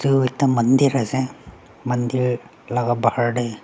ekta mandir ase mandir laga bahar te.